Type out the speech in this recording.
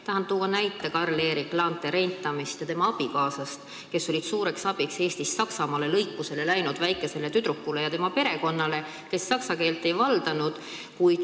Tahan tuua näiteks Carl Eric Laantee Reintami ja tema abikaasa, kes olid suureks abiks Saksamaale lõikusele läinud väikesele tüdrukule ja tema perekonnale, kes saksa keelt ei vallanud.